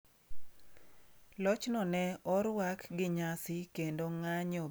Lochno ne orwak gi nyasi kendo ng'anyo bende e pinyno.